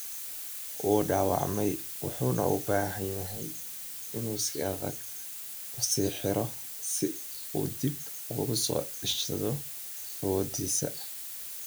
“Wuu dhaawacmay, wuxuuna u baahan yahay inuu si adag isu riixo si uu dib ugu soo ceshado awoodiisa.